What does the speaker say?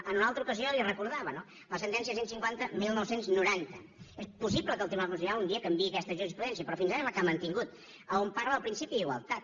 en una altra ocasió li ho recordava la sentència cent i cinquanta dinou noranta és possible que el tribunal constitucional canviï aquesta jurisprudència però fins ara és la que ha mantingut on parla del principi d’igualtat